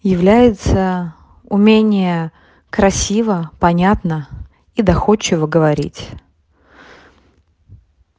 является умение красиво понятно и доходчиво говорить